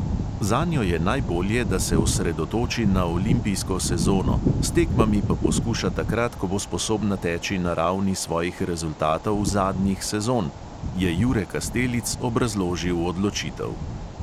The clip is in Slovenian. "Zanjo je najbolje, da se osredotoči na olimpijsko sezono, s tekmami pa poskuša takrat, ko bo sposobna teči na ravni svojih rezultatov zadnjih sezon," je jure kastelic obrazložil odločitev.